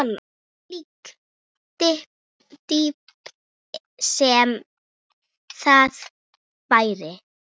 Hvílík dýpt sem það væri.